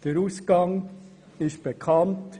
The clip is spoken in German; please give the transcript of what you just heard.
Der Ausgang ist bekannt.